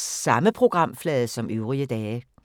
Samme programflade som øvrige dage